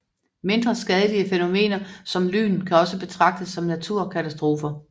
Mindre skadelige fænomener som lyn kan også betragtes som naturkatastrofer